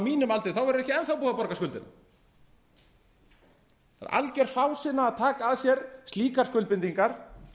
mínum aldri þá verður ekki enn þá búið að borga skuldina það er alger fásinna að taka að sér slíkar skuldbindingar